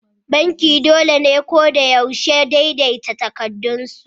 Banki dole ne ko da yaushe daidaita takardunsu.